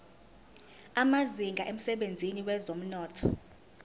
amazinga emsebenzini wezomnotho